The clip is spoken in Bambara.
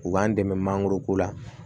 U b'an dɛmɛ mangoro ko la